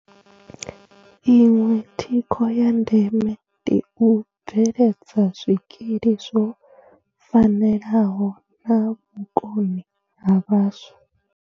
Iṅwe thikho ya ndeme ndi u bveledza zwikili zwo fanelaho na vhukoni ha vhaswa.